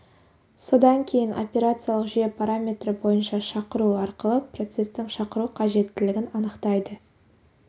содан кейін операциялық жүйе параметрі бойынша шақыру арқылы процестің шақыру қажеттілігін анықтайды